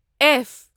F